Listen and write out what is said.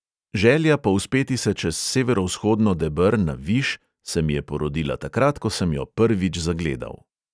Želja povzpeti se čez severovzhodno deber na viš se mi je porodila takrat, ko sem jo prvič zagledal.